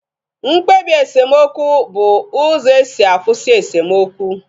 Mkpebi esemokwu bụ uzo esi akwụsị esemokwu